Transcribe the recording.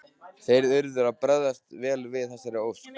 Þeir urðu að bregðast vel við þessari ósk.